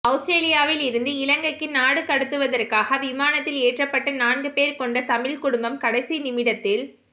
அவுஸ்ரேலியாவில் இருந்து இலங்கைக்கு நாடு கடத்துவதற்காக விமானத்தில் ஏற்றப்பட்ட நான்கு பேர் கொண்ட தமிழ்க் குடும்பம் கடைசிநிமிடத்தில்